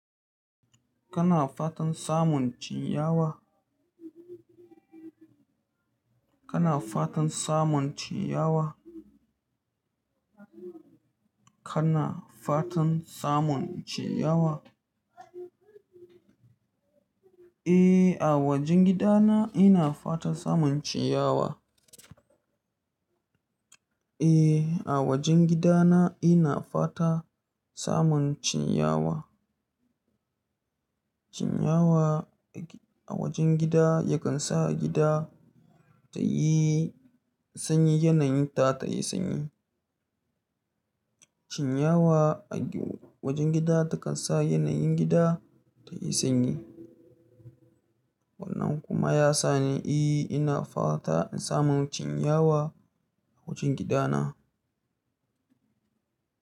Kana fatan samun cinyawa? Kana fatan samun cinyawa? Kana fatan samun cinyawa? Eh, a wajen gidana ina fatan samun ciyawa. Eh, a wajen gidana ina fata samun cinyawa. Ciyawa a wajen gida ya kan sa gida ta yi sanyi, yanayinta ta yi sanyi. Ciyawa a wajen gida ta kan sa yanayin gida ta yi sanyi. Wannan kuma ya sa ni, eh, ina fata in samu cinyawa a wajen gidana.